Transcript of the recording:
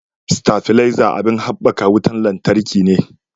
Stafileza abin habbakan wutan lantarki ne